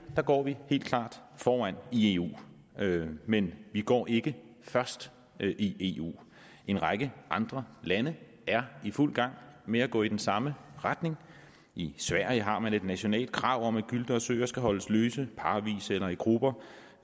går vi helt klart foran i eu men vi går ikke først i eu en række andre lande er i fuld gang med at gå i den samme retning i sverige har man et nationalt krav om at gylte og søer skal holdes løse parvis eller i grupper